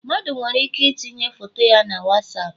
Mmadụ nwere ike itinye foto ya na Wasapu